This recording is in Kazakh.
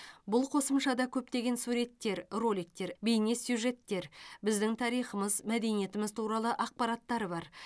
бұл қосымшада көптеген суреттер роликтер бейнесюжеттер біздің тарихымыз мәдениетіміз туралы ақпараттар бар